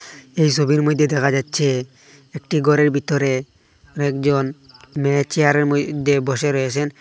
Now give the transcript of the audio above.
এই সোবির মইধ্যে দেখা যাচ্ছে একটি গরের ভিতরে অনেকজন মেয়ে চেয়ারের মইধ্যে বসে রয়েসেন।